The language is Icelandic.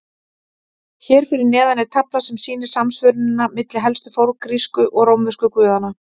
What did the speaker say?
Hér fyrir neðan er tafla sem sýnir samsvörunina milli helstu forngrísku og rómversku guðanna.